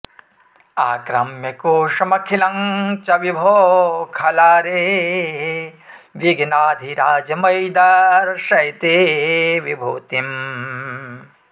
आक्रम्य कोशमखिलं च विभो खलारे विध्नाधिराज मयि दर्शय ते विभूतिम्